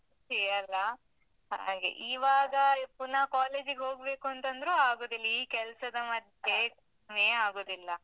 ಹೇ ಅಲ್ಲ? ಹಾಗೆ, ಈವಾಗ ಪುನ college ಗ್ ಹೋಗ್ಬೇಕಂತಂದ್ರು ಆಗುದಿಲ್ಲ, ಈ ಕೆಲ್ಸದ ನೇ ಆಗುದಿಲ್ಲ.